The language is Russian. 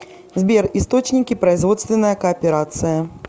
сбер источники производственная кооперация